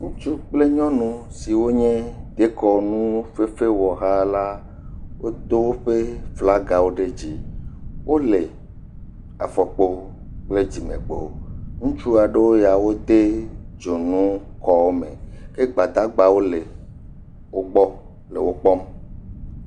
Ŋutsu kple nyɔnu siwo nye dekɔnufefewɔha la wodo woƒe flagawo ɖe dzi. Wo le afɔkpo kple dzime kpo. Ŋutsu aɖewo ya wode dzonu kɔ me ke gbadagbawo le wo gbɔ le wo kpɔm.